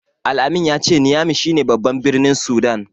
Al-amin ya ce Niyami shi ne baban birnin Sudan.